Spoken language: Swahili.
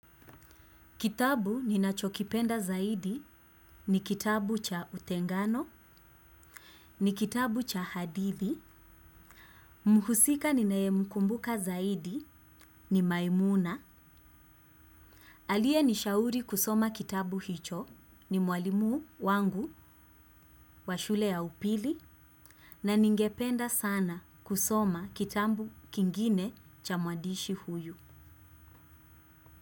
Kitabu ninachokipenda zaidi ni kitabu cha utengano, ni kitabu cha hadithi, mhusika ninayemkumbuka zaidi ni maimuna, aliyenishauri kusoma kitabu hicho ni mwalimu wangu wa shule ya upili na ningependa sana kusoma kitambu kingine cha mwadishi huyu.